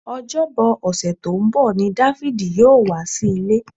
Ọjọ́bọ ọ̀sẹ̀ tó ń bọ̀ ni Dáfídì yóò wá sí ilé